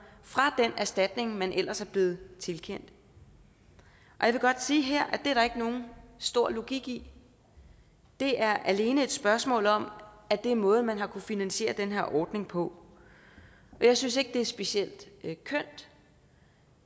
fra den erstatning man ellers er blevet tilkendt jeg vil godt sige her at det er der ikke nogen stor logik i det er alene et spørgsmål om at det er måden man har kunnet finansiere den her ordning på og jeg synes ikke det er specielt kønt